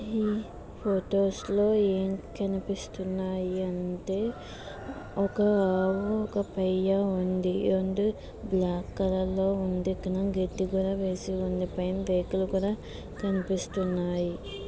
ఈ ఫొటోస్ లో ఏం కనిపిస్తున్నాయి అంటే ఒక ఆవు ఒక పెయ్య ఉంది.అండ్ బ్లాక్ కలర్ లో ఉంది.